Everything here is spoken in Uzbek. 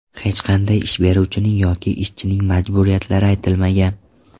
Hech qanday ish beruvchining yoki ishchining majburiyatlari aytilmagan.